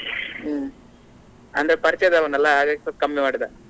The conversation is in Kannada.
ಹ್ಮ್‌ ಅಂದ್ರೆ ಪರಿಚಯದವನಲ್ಲ ಹಾಗಾಗಿ ಸ್ವಲ್ಪ ಕಮ್ಮಿ ಮಾಡಿದಾ.